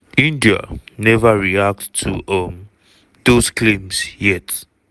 india neva react to um dos claims yet.